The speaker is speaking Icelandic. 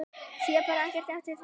Sé bara ekkert eftir því núna.